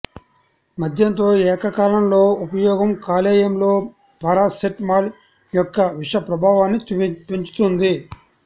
మద్యంతో ఏకకాలంలో ఉపయోగం కాలేయంలో పారాసెటమాల్ యొక్క విష ప్రభావాన్ని పెంచుతుంది